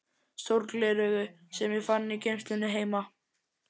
sólgleraugu sem ég fann í geymslunni heima.